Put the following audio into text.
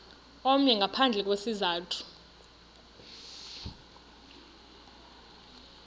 omnye ngaphandle kwesizathu